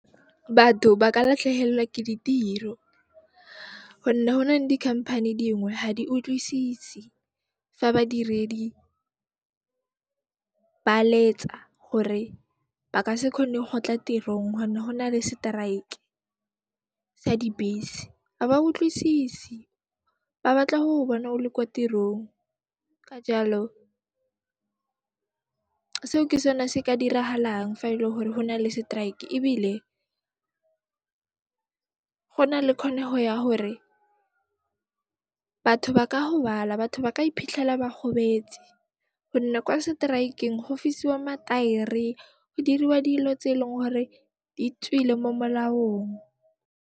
Batho ba ka latlhehellwa ke ditiro honne ho na le dikhamphani dingwe, ha di utlwisise fa badiredi ba letsa gore ba ka se kgone ho tla tirong honne ho na le seteraeke sa dibese, a ba utlwisise, ba batla ho bona o le kwa tirong. Ka jaalo, seo ke sone se ka diragalang fa e le hore ho nale seteraeke, ebile ho na le kgonego ya hore batho ba ka gobala, batho ba ka iphitlhela ba gobetse gonne kwa seteraekeng, go fisiwa mataere, go diriwa dilo tse eleng gore di tswile mo molaong.